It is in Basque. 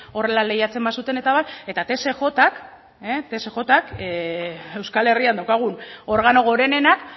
horrela lehiatzen bazuten eta abar eta tsjk euskal herrian daukagun organo gorenenak